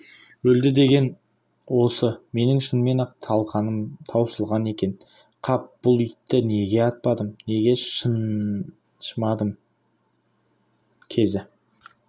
өлді деген осы менің шынымен-ақ талқаным таусылған екен қап бұл итті неге атпадым неге шаншымадым кезі